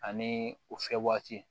Ani o fɛ waati